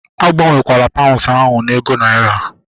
Agbanwekwala paunds ahu na ego naira!